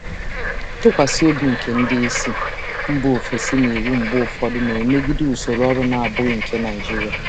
Nkwusi ike ndị oga si mba ọzọ na iwu na-emegide mgbe ụfọdụ na usoro ọrụ Naịjirịa na-abụghị nke nkịtị.